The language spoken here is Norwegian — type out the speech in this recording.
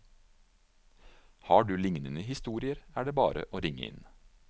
Har du lignende historier, er det bare å ringe inn.